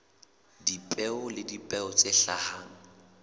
dipeo le dipeo tse hlahang